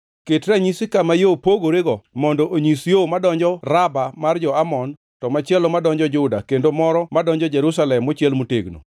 Ket ranyisi kama yo pogorego mondo onyis yo madonjo Raba mar jo-Amon, to machielo madonjo Juda kendo moro madonjo Jerusalem mochiel motegno.